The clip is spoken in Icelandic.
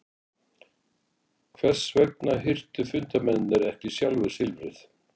Hvers vegna hirtu fundarmennirnir ekki sjálfir silfrið?